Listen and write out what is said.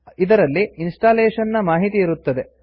ಇದರಲ್ಲಿ ಇನ್ಸ್ಟಾಲೇಶನ್ ನ ಮಾಹಿತಿ ಇರುತ್ತದೆ